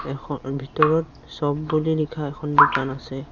এখ ভিতৰত শ্ব'প বুলি লিখা এখন দোকান আছে।